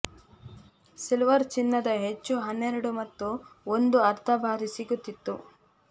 silver ಚಿನ್ನದ ಹೆಚ್ಚು ಹನ್ನೆರಡು ಮತ್ತು ಒಂದು ಅರ್ಧ ಬಾರಿ ಸಿಗುತ್ತಿತ್ತು